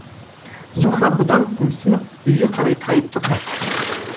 зуһра бұдан қымсынып үйге қарай тайып тұрды